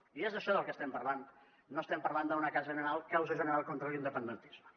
i és d’això del que estem parlant no estem parlant d’una causa general contra l’independentisme